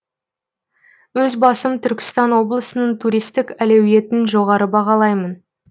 өз басым түркістан облысының туристік әлеуетін жоғары бағалаймын